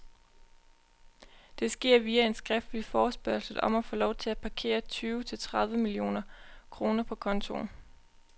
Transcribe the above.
Det sker via en skriftlig forespørgsel om at få lov til at parkere tyve til tredive millioner kroner på kontoen.